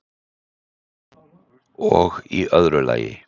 og í öðru lagi